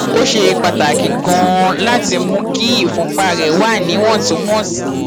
ó ṣe pàtàkì ganan láti mú kí ìfúnpá rẹ wà níwọntúnwọnsì